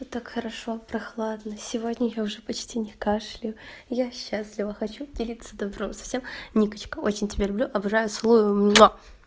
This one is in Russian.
так хорошо прохладно сегодня я уже почти не кашляю я счастлива хочу поделиться добром со всем никочка очень тебя люблю обожаю целую